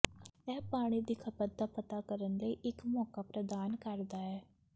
ਇਹ ਪਾਣੀ ਦੀ ਖਪਤ ਦਾ ਪਤਾ ਕਰਨ ਲਈ ਇੱਕ ਮੌਕਾ ਪ੍ਰਦਾਨ ਕਰਦਾ ਹੈ